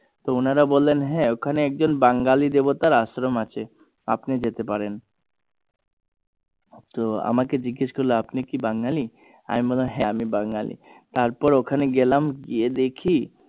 তো ওনারা বললেন হ্যাঁ ওখানে একজন বাঙালি দেবতার আশ্রম আছে আপনি যেতে পারেন তো আমাকে জিএস করলো যে আপনি কি বাঙালি আমি বললাম হ্যাঁ আমি বাঙালি তার পর ওখানে গেলাম গিয়ে দেখি